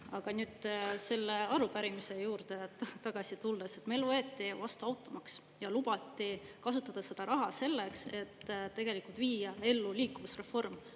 Aga nüüd selle arupärimise juurde tagasi tulles, meil võeti vastu automaks ja lubati kasutada seda raha selleks, et viia ellu liikuvusreform.